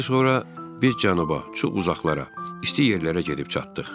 Xeyli sonra biz cənuba, çox uzaqlara, isti yerlərə gedib çatdıq.